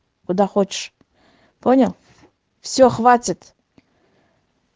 куда хочешь понял все хватит